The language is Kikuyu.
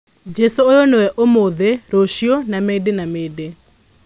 Jesũ ũyũ nĩwe ũmũnthĩ, rũcio na mĩndĩ na mĩndĩ.